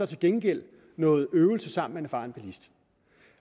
til gengæld noget øvelse sammen med en erfaren bilist